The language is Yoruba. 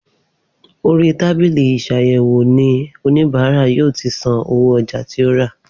Orí tábìlì isàyèwò ni oníbàárà yóò tí san owó ọjà tí ó rà